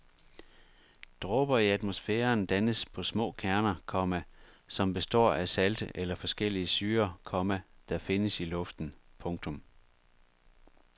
Dråber i atmosfæren dannes på små kerner, komma som består af salte eller forskellige syrer, komma der findes i luften. punktum